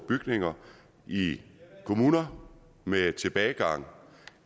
bygninger i kommuner med tilbagegang